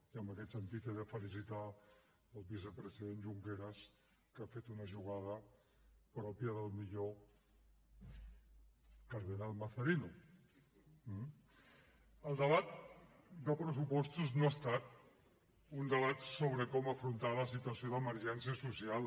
i en aquest sentit he de felicitar el vicepresident junqueras que ha fet una jugada pròpia del millor cardenal mazzarino eh el debat de pressupostos no ha estat un debat sobre com afrontar la situació d’emergència social